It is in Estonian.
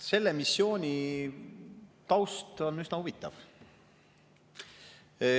Selle missiooni taust on üsna huvitav.